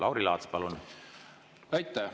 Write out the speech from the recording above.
Lauri Laats, palun!